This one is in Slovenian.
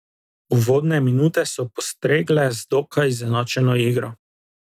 Uvodne minute so postregle z dokaj izenačeno igro.